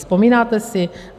Vzpomínáte si?